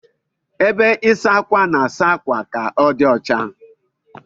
Ebe ịsa ákwà na-asa akwa ka odi ọcha.